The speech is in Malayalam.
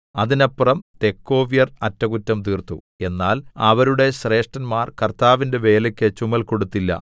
അതിനപ്പുറം തെക്കോവ്യർ അറ്റകുറ്റം തീർത്തു എന്നാൽ അവരുടെ ശ്രേഷ്ഠന്മാർ കർത്താവിന്റെ വേലയ്ക്ക് ചുമൽ കൊടുത്തില്ല